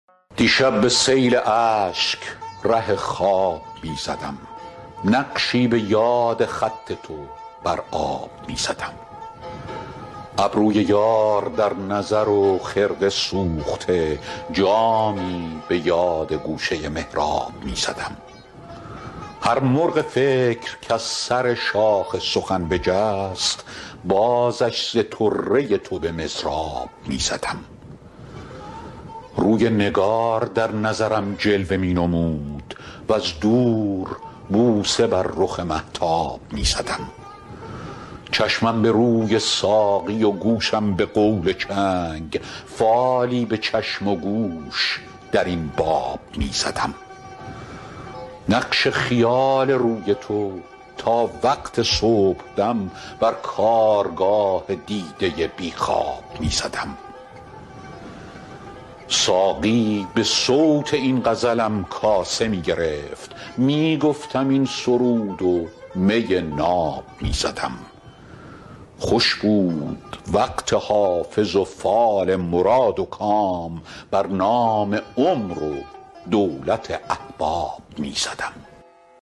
دیشب به سیل اشک ره خواب می زدم نقشی به یاد خط تو بر آب می زدم ابروی یار در نظر و خرقه سوخته جامی به یاد گوشه محراب می زدم هر مرغ فکر کز سر شاخ سخن بجست بازش ز طره تو به مضراب می زدم روی نگار در نظرم جلوه می نمود وز دور بوسه بر رخ مهتاب می زدم چشمم به روی ساقی و گوشم به قول چنگ فالی به چشم و گوش در این باب می زدم نقش خیال روی تو تا وقت صبحدم بر کارگاه دیده بی خواب می زدم ساقی به صوت این غزلم کاسه می گرفت می گفتم این سرود و می ناب می زدم خوش بود وقت حافظ و فال مراد و کام بر نام عمر و دولت احباب می زدم